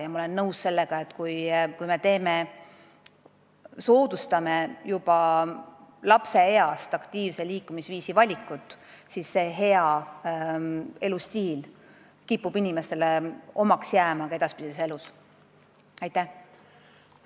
Ja ma olen nõus sellega, et kui me soodustame aktiivse liikumisviisi valikut juba lapseeas, siis kipub see hea elustiil ka edaspidises elus inimestele omaseks jääma.